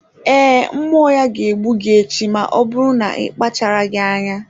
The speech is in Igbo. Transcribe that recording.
Ee, mmụọ ya ga-egbu gị echi ma ọ bụrụ na akpacharaghị anya.